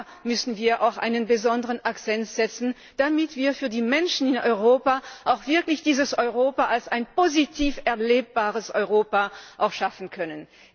Da müssen wir auch einen besonderen Akzent setzen, damit wir für die Menschen in Europa auch wirklich dieses Europa als ein positiv erlebbares Europa schaffen können.